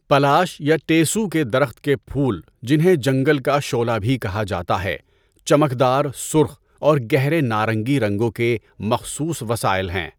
Polish یا ٹیسو کے درخت کے پھول، جنہیں جنگل کا شعلہ بھی کہا جاتا ہے، چمکدار سرخ اور گہرے نارنگی رنگوں کے مخصوص وسائل ہیں۔